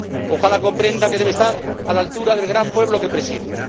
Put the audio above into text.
¡Ojalá comprenda que debe estar a la altura del gran pueblo que preside!